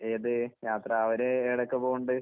ഏത് യാത്ര അവര് എടയ്ക്ക് പോണ്ണ്ട്.